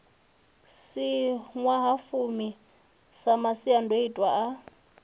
si ṅwahafumi sa masiandoitwa a